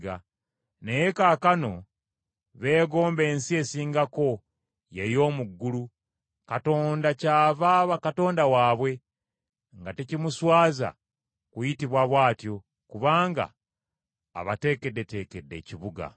Naye kaakano beegomba ensi esingako, ye y’omu ggulu. Katonda kyava aba Katonda waabwe, nga tekimuswaza kuyitibwa bw’atyo, kubanga abateekeddeteekedde ekibuga.